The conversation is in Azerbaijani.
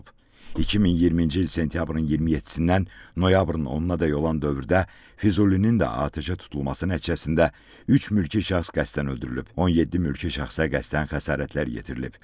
2020-ci il sentyabrın 27-dən noyabrın 10-dək olan dövrdə Füzulinin də atəşə tutulması nəticəsində üç mülki şəxs qəsdən öldürülüb, 17 mülki şəxsə qəsdən xəsarətlər yetirilib.